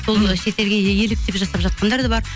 сол шетелге еліктеп жасап жатқандар бар